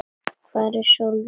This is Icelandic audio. Hvar er Sólrún?